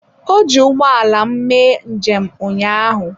Ọ ji ụgbọ ala m mee njem ụnyaahụ.